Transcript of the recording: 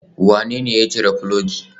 Wanene ya cire filogi?